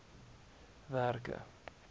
werke